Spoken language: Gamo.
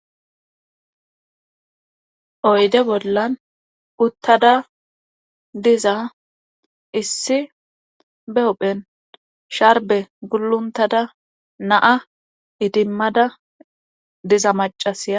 Oyde bollan uttada diza issi be ophen sharbe guluntada naa idimmada diza macasa.